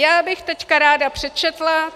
Já bych teď ráda přečetla...